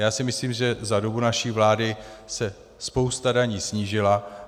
Já si myslím, že za dobu naší vlády se spousta daní snížila.